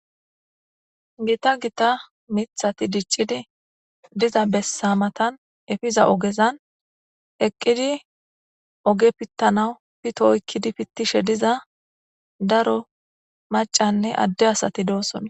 Gita gita mithati diccidi diza bessa matan efiza ogezan eqqidi oge pittanau pitooykkidi pittishe diza daro macanne adde asati doossona.